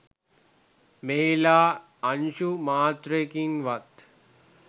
මෙහිලා අංශු මාත්‍රයකින්වත්